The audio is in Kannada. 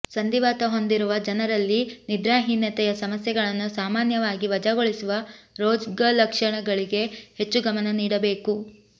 ಸಂಧಿವಾತ ಹೊಂದಿರುವ ಜನರಲ್ಲಿ ನಿದ್ರಾಹೀನತೆಯ ಸಮಸ್ಯೆಗಳನ್ನು ಸಾಮಾನ್ಯವಾಗಿ ವಜಾಗೊಳಿಸುವ ರೋಗಲಕ್ಷಣಗಳಿಗೆ ಹೆಚ್ಚು ಗಮನ ನೀಡಬೇಕು